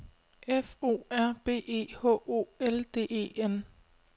F O R B E H O L D E N